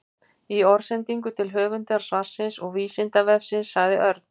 Í orðsendingu til höfundar svarsins og Vísindavefsins sagði Örn: